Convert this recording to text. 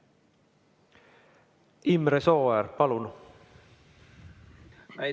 Imre Sooäär, palun!